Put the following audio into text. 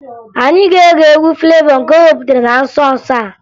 Anyị ga-ege egwu Flevọ nke o wepụtara na nso nso a